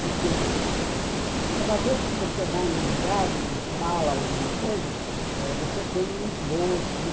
Porque cada vez que você vai num lugar e fala alguma coisa, você tem um esboço, né?